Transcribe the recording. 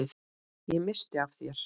Ég missti af þér.